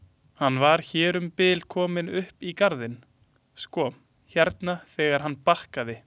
Hann var hér um bil kominn upp í garðinn sko hérna þegar hann bakkaði.